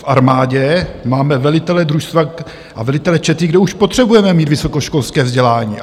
V armádě máme velitele družstva a velitele čety, kde už potřebujeme mít vysokoškolské vzdělání.